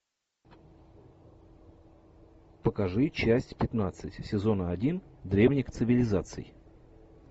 покажи часть пятнадцать сезона один древних цивилизаций